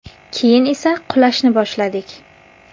Keyin esa qulashni boshladik.